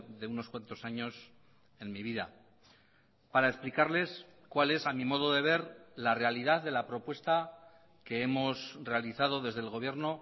de unos cuántos años en mi vida para explicarles cuál es a mi modo de ver la realidad de la propuesta que hemos realizado desde el gobierno